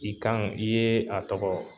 I kan, i ye a tɔgɔ